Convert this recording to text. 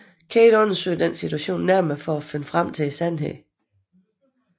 Kate undersøger denne situation nærmere for at finde frem til sandheden